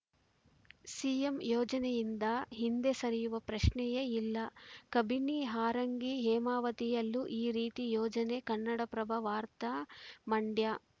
CM ಯೋಜನೆಯಿಂದ ಹಿಂದೆ ಸರಿಯುವ ಪ್ರಶ್ನಯೆಯಿಲ್ಲ ಕಬಿನಿ ಹಾರಂಗಿ ಹೇಮಾವತಿಯಲ್ಲೂ ಈ ರೀತಿ ಯೋಜನೆ ಕನ್ನಡಪ್ರಭ ವಾರ್ತ ಮಂಡ್ಯ